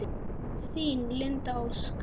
Þín, Linda Ósk.